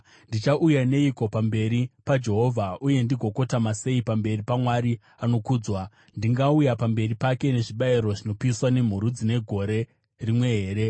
Ndichauya neiko pamberi paJehovha. Uye ndigokotama sei pamberi paMwari anokudzwa? Ndingauye pamberi pake nezvibayiro zvinopiswa nemhuru dzine gore rimwe here?